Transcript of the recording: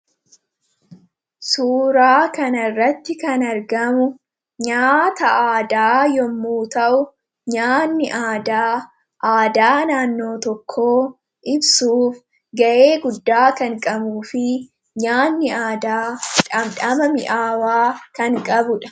suuraa kan irratti kan argamu nyaata aadaa yommuu ta'u nyaanni aadaa aadaa naannoo tokko ibsuuf ga’ee guddaa kanqabu fi nyaanni aadaa dhamdhamami aawaa kan qabudha